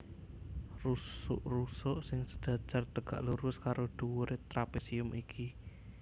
Rusuk rusuk sing sejajar tegak lurus karo dhuwuré trapésium iki